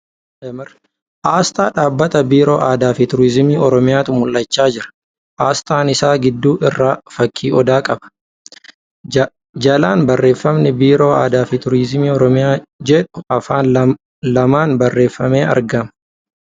Asxaa dhaabbata biiroo aadaa fi turiizimii oromiyaatu mul'achaa jira. Asxaan isaa gidduu irraa fakkii odaa qaba. Jalaan barreeffamni ' Biiroo Aadaa fi Tuurizimii Oromiyaa ' jedhu Afaan lamaan barreeffamee argama.